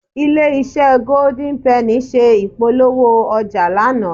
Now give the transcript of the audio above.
Ilé-iṣẹ́ Golden penny ṣe ìpolówó ọjà lánàá